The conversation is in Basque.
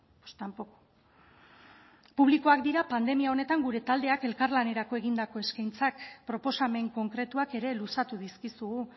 pues tampoco publikoak dira pandemia honetan gure taldeak elkarlanerako egindako eskaintzak proposamen konkretuak ere luzatu dizkizugu